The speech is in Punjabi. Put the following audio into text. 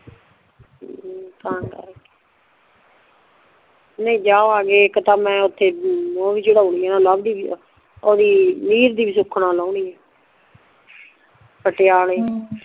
ਹਮ ਤਾਂ ਕਰਕੇ ਨਹੀਂ ਜਾਵਾਂਗੇ ਇੱਕ ਤੇ ਮੈਂ ਓਥੇ ਓ ਵੀ ਚੜ੍ਹੋਣੀ ਆ ਲਵ ਦੀ ਓਦੀ ਲੀਰ ਦੀ ਵੀ ਸੁੱਖਣ ਲੋਨੀ ਆ ਪਟਿਆਲੇ